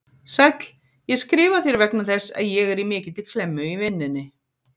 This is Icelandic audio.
Sæll, ég skrifa þér vegna þess að ég er í mikilli klemmu í vinnunni.